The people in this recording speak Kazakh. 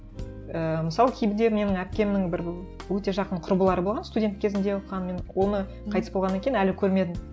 ііі мысалы менің әпкемнің бір өте жақын құрбылары болған студент кезінде оқыған мен оны қайтыс болғаннан кейін әлі көрмедім